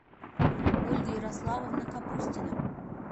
ольга ярославовна капустина